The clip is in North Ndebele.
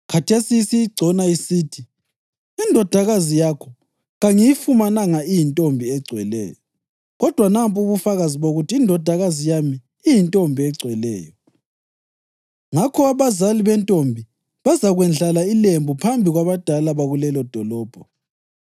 Khathesi isiyigcona isithi, “Indodakazi yakho kangiyifumananga iyintombi egcweleyo.” Kodwa nampu ubufakazi bokuthi indodakazi yami iyintombi egcweleyo.’ Ngakho abazali bentombi bazakwendlala ilembu phambi kwabadala bakulelodolobho,